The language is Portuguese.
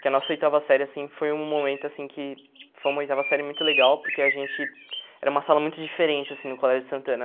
Que a nossa oitava série, assim, foi um momento, assim, que foi uma oitava série muito legal, porque a gente... Era uma sala muito diferente, assim, no Colégio Santana.